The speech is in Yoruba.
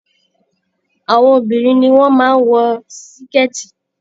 Àwọn obìnrin ni wọ́n máa ń wọ sikẹ̀ẹ̀tì